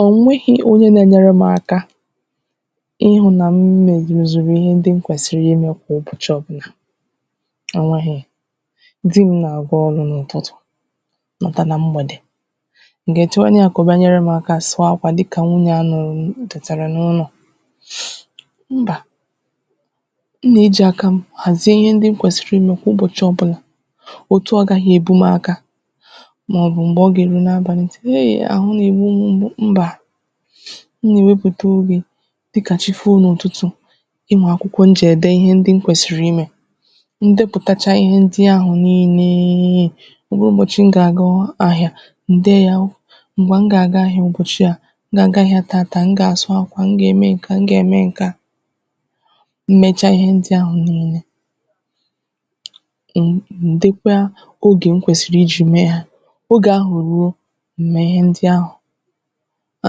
o nwehī onye na-enyere m aka ịhụ̄ na m mezùrù ihe ndị m kwèsìrì imē kwà ụbọ̀chị ọ̀bụlà ò nweghì di m nà-àga ọrụ̄ n’ụ̀tụtụ̀ lọta na mgbèdè m gà-èchewenu yā kà ọ bịa nyere m aka sụọ akwà dịka mu na ya nọ ọ̀ tètàrà n’ụnọ̀ mbà m nà-ejì akā m ghàzie ihe ndị m kwèsìrì imē kwa ụbọ̀chị ọ̀bụlà otu ọ gaghị èbu m aka màọbụ m̀gbe ọ gà-èru n’abàlị m tiwe eeh àhụ nà-ègbu m m̀gbu mbà m nà-èwepụ̀ta obì dịkà chi foo n’ụ̀tụtụ̀ e nweè akwụkwọ m jì ède ihe ndị m kwèsìrì imē m depụtacha ihe ndị ahụ̀ niilē ọ bụrụ ụbọ̀chị m gà-àga ahịā m dee yā m̀gbè m gà-àga ahịā ụ̀bọ̀chị a m gà-àga ahịā tata m gà-àsụ akwà m gà-ème ǹke a m gà-ème ǹke a m mecha ihe ndị ahụ̀ niile m m dekwa ogè m kwèsìrì ijī mee ha oge ahụ̀ ruo m mee ihe ndị ahụ̀ a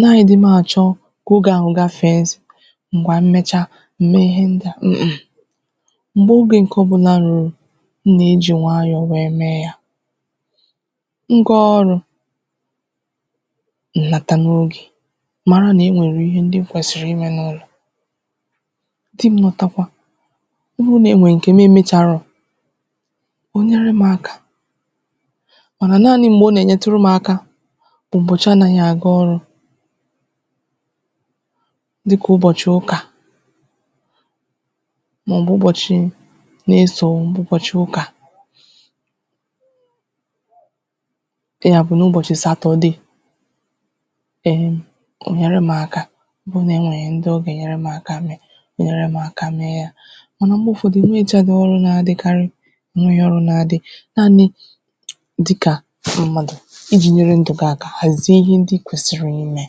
naghị̄ di m àchọ a naghị̄ di m àchọ ǹgwà m mecha m mee ihe ndịa m m m̀gbè ogē ǹke ọ̀bụnà rùrù m nà-ejì nwayọ̀ wee mee yā m gaa ọrụ̄ m nata n’ogè mara nà o nwèrè ihe ndị m kwèsìrì imē n’ụlọ̀ di m lọtakwa ọ bụrụ nà e nwee ǹke nm emēcharo ò nyere m aka manà naanị m̀gbè ọ nà-ènyeturu m aka ụ̀bọ̀chị ọ naghị aga ọrụ̄ dịkà ụbochị̀ ụkà dịkà ụbochị̀ ụkà na-esò ụbọ̀chị̀ ụkà ị gà-àkwụ n’ụbọ̀chị̀ Saturday em em ò nyère m aka ọ bụ nà o nwèe ihe ndị ọ gà-ènyere m aka mee nyère m aka mee ya màna mgbe ụ̀fọdụ mmēchaghị ọrụ na-adịkarị nri ọrụ na-adị nanị̄ dịkà ndị mmadụ̀ ijī nyere ndụ̀ gi aka ghàzie ihe ndị ikwèsìrì imē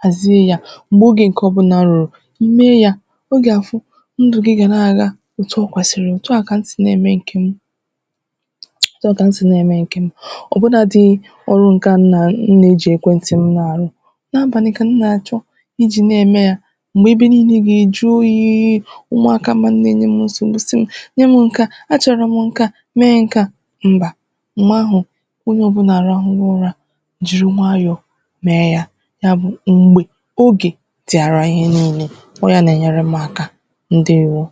ghàzie ya m̀gbè ogē ǹkè ọ̀bụnā rùrù ime ya ọ gà-àfụ ndù gi gà na-àga òtu o kwèsìrì òtu a ka m si na-ème ǹke m òtu a kà m si na-ème ǹkè m ọ̀ bụ na dị ọrụ ǹke a m nà-ejì ekwenti m na-àrụ n’abàlị ka m nà-àchọ ijī na-ème ya m̀gbè ebe niilē gà-èju oyī umùaka m nọ̀ na-ènye m nsògbu si m nye mụ ǹke a achọ̀rọ̀ m ǹke a mee nke a mbà m̀gbè ahụ̀ onyē ọ̀bụla àrụghụgo ụrā jìri nwayọ̀ mee ya ya bụ̀ m̀gbè ogè dị̀ara ihe niilē ọ yā nà-ènyere m aka ǹdewo